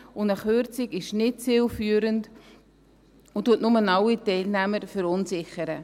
Eine Kürzung ist nicht zielführend und verunsichert bloss alle Teilnehmer.